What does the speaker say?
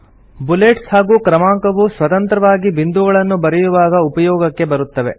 bullets ಹಾಗೂ ಕ್ರಮಾಂಕವು ಸ್ವತಂತ್ರವಾಗಿ ಬಿಂದುಗಳನ್ನು ಬರೆಯುವಾಗ ಉಪಯೋಗಕ್ಕೆ ಬರುತ್ತವೆ